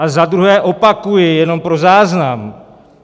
A za druhé opakuji, jenom pro záznam.